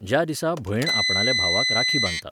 ज्या दिसा भयण आपणाल्या भावाक राखी बांदता